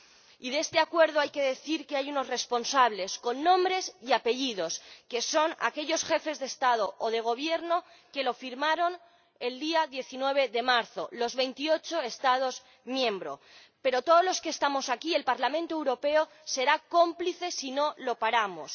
Y de este acuerdo hay que decir que hay unos responsables con nombres y apellidos, que son aquellos jefes de Estado o de Gobierno que lo firmaron el día 19 de marzo ―de los 28 Estados miembros―, pero todos los que estamos aquí ―el Parlamento Europeo― seremos cómplices si no lo paramos.